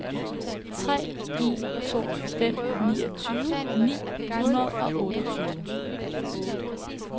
tre en to fem niogtyve ni hundrede og otteogtyve